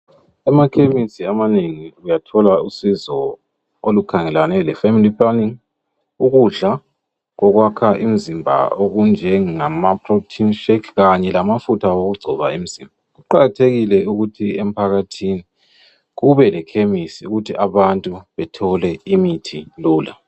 Emakhemesi amanengi uyathola usizo, olukhangelane lefamily planning, ukudla, okwakha imzimba. Okunjengamaproteinshake. Kanye kamafutha okugcoba umzimba. Kuqakathekile ukuthi emphakathini, kube lekhemisi, ukuthi abantu bathole imithi lula.